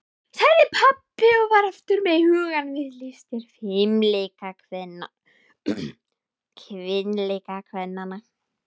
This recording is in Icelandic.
sagði pabbi og var aftur með hugann við listir fimleikakvennanna.